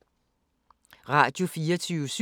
Radio24syv